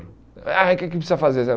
Ah O que que precisa fazer?